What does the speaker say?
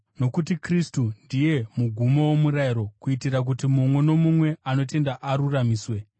Nokuti Kristu ndiye mugumo womurayiro, kuitira kuti mumwe nomumwe anotenda aruramiswe.